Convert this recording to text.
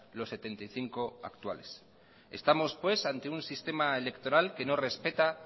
los setenta y cinco actuales estamos ante un sistema electoral que no respeta